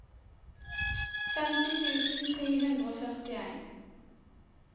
femti tusen tre hundre og førtien